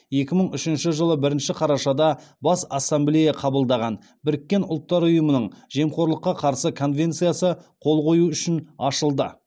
екі мың үшінші жылы бірінші қарашада бас ассамблея қабылдаған біріккен ұлттар ұйымының жемқорлыққа қарсы конвенциясы қол қою үшін ашылды